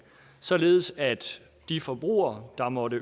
således at de forbrugere der måtte